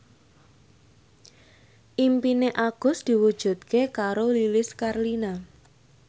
impine Agus diwujudke karo Lilis Karlina